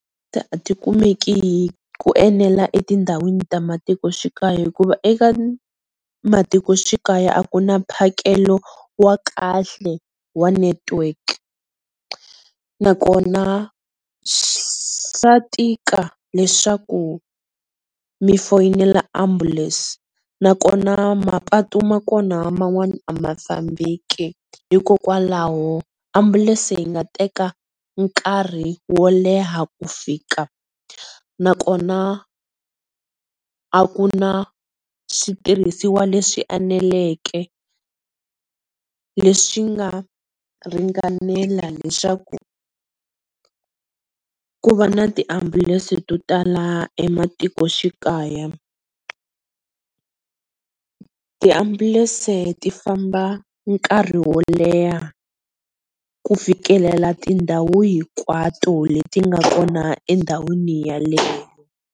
Tikumeki hi ku enela etindhawini ta matikoxikaya hikuva eka matikoxikaya a ku na mphakelo wa kahle wa network, na kona swa tika leswaku mi foyinela ambulance na kona mapatu ma kona man'wana a ma fambeki hikokwalaho ambulense yi nga teka nkarhi wo leha ku fika na kona a ku na switirhisiwa leswi eneleke, leswi nga ringanela leswaku ku va na ti ambulense to tala ematikoxikaya. Tiambulese ti famba nkarhi wo leha ku fikelela tindhawu hinkwato le ti nga kona endhawini yeleyo.